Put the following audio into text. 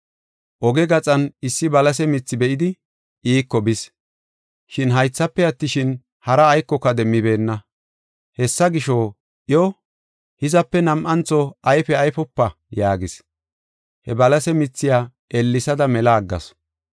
Oge gaxan issi balase mithi be7idi iiko bis. Shin haythafe attishin, hara aykoka demmibeenna. Hessa gisho, iyo, “Hizape nam7antho ayfe ayfopa!” yaagis. He balase mithiya ellesada mela aggasu.